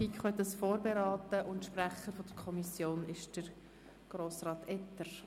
Die FiKo hat das Geschäft vorberaten, und der Kommissionssprecher ist Grossrat Etter.